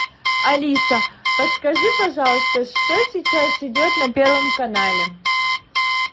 алиса подскажи пожалуйста что сейчас идет на первом канале